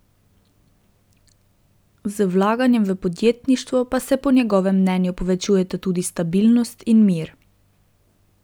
Z vlaganjem v podjetništvo pa se po njegovem mnenju povečujeta tudi stabilnost in mir.